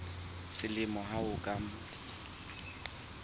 selemo ho ya ka mm